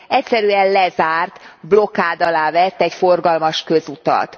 egyszerűen lezárt, blokád alá vett egy forgalmas közutat.